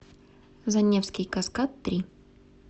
заневский каскад три